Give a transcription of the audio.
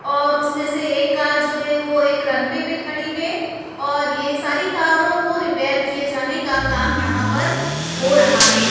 और उसमें से एक कार जो है वो एक रनवे पे खड़ी है और ये सारी कारों को रिपेयर किए जाने का काम यहां पर हो रहा है।